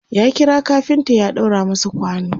ya kira kafinta ya ɗaura masa kwano